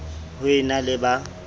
ho e na le ba